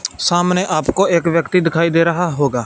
सामने आपको एक व्यक्ति दिखाई दे रहा होगा--